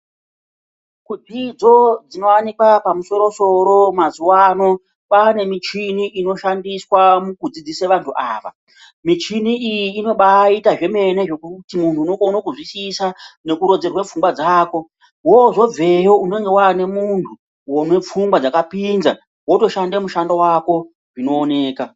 Dzidzo dzinovanikwa pamusoro-soro mazuva ano kwane michini inoshandiswa mukudzidzisa vantu ava. Michini iyi inobaita zvemene zvekuti muntu unokone kuzvisisa nekurodzerwe pfunga dzako. Vozobveyo unonga vane muntu unepfungwa dzakapinza votoshanda mushando vako zvinooneka.